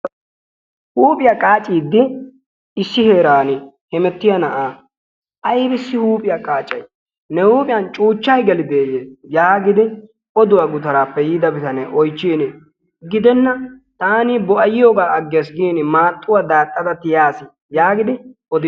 Huuphiya qaaciiddi issi heeraani hemettiya na'aa aybissi huuphiya qaacay? Ne huuphiyan cuuchchay gelideeyye yaagidi oduwa gutaraappe yiida bitanee oychchiini gidenna taani bo'ayiyogaa aggeesi giini maaxxuwa daaxxada tiyaasi yaagidi odiisi.